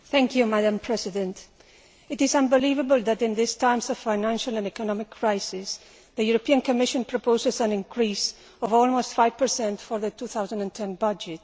Madam President, it is unbelievable that in these times of financial and economic crisis, the European Commission proposes an increase of almost 5 for the 2010 budget.